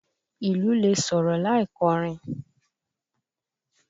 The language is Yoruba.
Ìlù lè sọ̀rọ̀ láì kọ́rin.